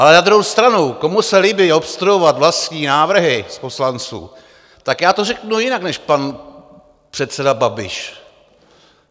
Ale na druhou stranu, komu se líbí obstruovat vlastní návrhy z poslanců, tak já to řeknu jinak než pan předseda Babiš.